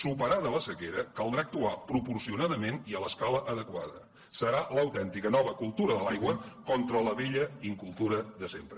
superada la sequera caldrà actuar proporcionadament i a l’escala adequada serà l’autèntica nova cultura de l’aigua contra la vella incultura de sempre